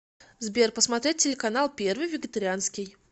сбер посмотреть телеканал первый вегетарианский